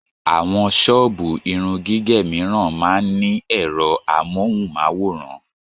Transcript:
Àwọn ṣọ́ọ̀bù irun gígẹ̀ mìíràn máa ń ní ẹ̀rọ amóhùn-máwòrán